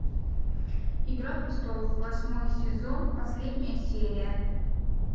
игра престолов восьмой сезон последняя серия